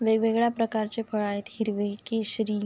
वेगवेगळ्या प्रकारचे फळं आहेत हिरवे केशरी --